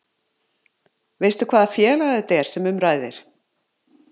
Veistu hvaða félag þetta er sem um ræðir?